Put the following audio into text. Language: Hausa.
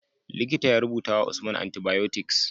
Likita ya rubutawa usman antibiotics